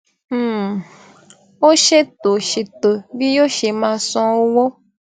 um ó ṣètò ṣètò bí yoo ṣe máa san owó